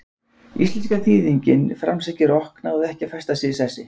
Íslenska þýðingin framsækið rokk náði ekki að festa sig í sessi.